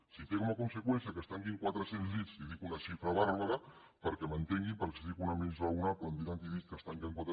si té com a conseqüència que es tanquin quatre cents llits i dic una xifra bàrbara perquè m’entenguin perquè si en dic una de més raonable em diran que he dit que es tanquen quatre